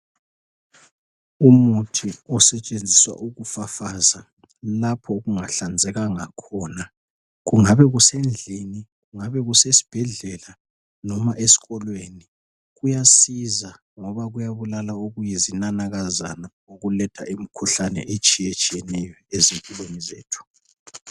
Umuthi osetshenziswa ukufafaza lapho okungahlanzekanga khona kungabe kusendlini kungabe kusesibhedlela noma esikolweni kuyasiza ngoba kuyabulala okuyizinanakazana okuletha imikhuhlane etshiyetshiyeneyo ezimpilweni zethu .